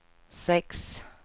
sex